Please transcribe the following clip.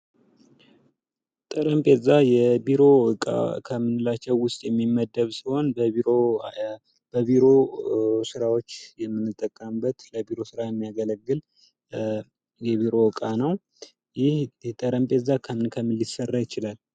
ጠረጴዛ የቢሮ እቃ ከምንላቸው ውስጥ የሚመደብ ሲሆን በቢሮ ስራዎች የምንጠቀምበት ለ ቢሮ ስራ የሚያገለግል የቢሮ እቃ ነው። ይህ ጠረጴዛ ከምን ከምን ሊሰራ ይችላል?